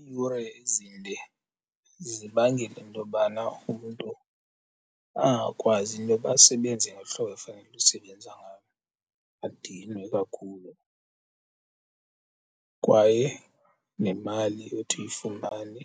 Iiyure ezinde zibangele intobana umntu angakwazi intoba asebenze ngohlobo efanele usebenza ngalo, adinwe kakhulu. Kwaye nemali othi uyifumane